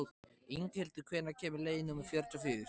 Inghildur, hvenær kemur leið númer fjörutíu og fjögur?